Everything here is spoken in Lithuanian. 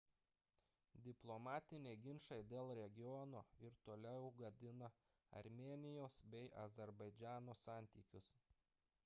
diplomatiniai ginčai dėl regiono ir toliau gadina armėnijos bei azerbaidžano santykius